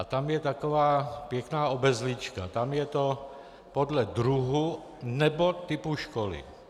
A tam je taková pěkná obezlička, tam je to "podle druhu nebo typu školy".